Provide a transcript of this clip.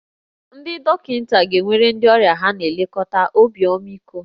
Ndị dọkịta ga-enwere ndị ọrịa ha na-elekọta obi ọmịiko